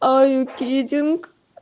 а кидинг